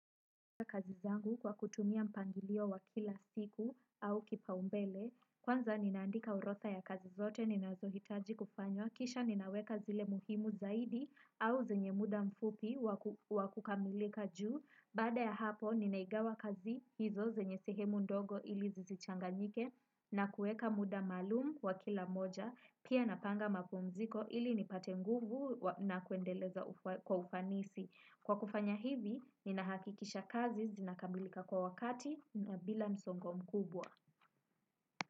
Kwa kutumia mpangilio wa kila siku au kipaumbele, kwanza ninaandika orodha ya kazi zote ninazohitaji kufanya, kisha ninaweka zile muhimu zaidi au zenye muda mfupi wakukamilika juu, baada ya hapo ninaigawa kazi hizo zenye sehemu ndogo ili zisichanganyike na kueka muda maalumu wa kila moja, pia napanga mapumziko ili nipate nguvu na kuendeleza kwa ufanisi. Kwa kufanya hivi, ninahakikisha kazi zinakamilika kwa wakati na bila msongo mkubwa.